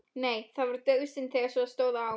Nei, það var dauðasynd þegar svo stóð á.